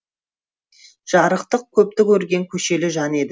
жарықтық көпті көрген көшелі жан еді